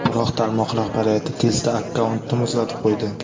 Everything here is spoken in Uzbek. Biroq tarmoq rahbariyati tezda akkauntni muzlatib qo‘ydi.